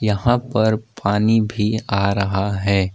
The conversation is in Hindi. यहां पर पानी भी आ रहा है।